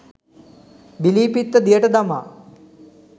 බිලී පිත්ත දියට දමා